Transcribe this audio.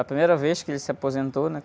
A primeira vez, que ele se aposentou, né?